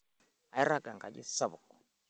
Airaga enkaji sapuk.